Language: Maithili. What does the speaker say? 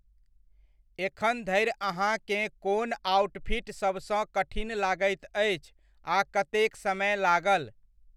एखन धरि अहाँकेँ कोन ऑउटफिट सभसँ कठिन लागैत अछि आ कतेक समय लागल?